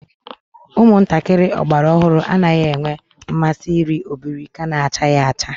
Umuntakiri ogbara ohuru anaghi enwe nmasi iri obirika nachaghi acha